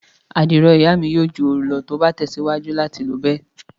Àdìrò iya mi yoo ju ooru lọ ti o ba tẹsiwaju lati lo bẹ.